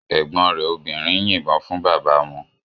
Ẹ̀gbọ́n rẹ̀ obìnrin yìnbọn fún bàbá wọn.